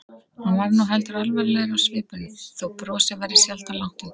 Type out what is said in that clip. Hann varð nú heldur alvarlegri á svipinn þó brosið væri sjaldan langt undan.